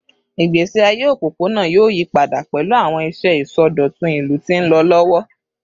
Igbesi aye opopona yoo yipada pẹlu awọn iṣẹ isọdọtun ilu ti nlọ lọwọ